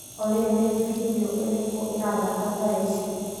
Olĩ nĩ bindiũ ĩrĩkũ ĩrathaka thaa ici?